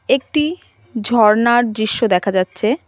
একটি ঝর্ণার দৃশ্য দেখা যাচ্ছে.